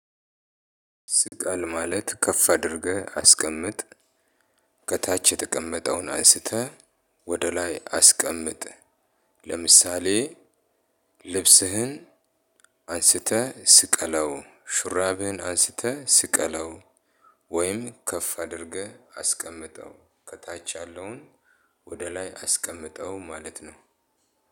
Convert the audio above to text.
ስቀል ማለት ከፍ አድርገህ አስቀምጥ። ከታች የተቀመጠውን አንስተህ ወደ ላይ አስቀምጥ። ለምሳሌ ልብስህን አንስተህ ስቀለው ሹራብህን አንስተህ ስቀለው። ወይም ከፍ አድርገህ አስቀምጠው ከታች ያለውን ወደ ላይ አስቀምጠው። ማለት ነው።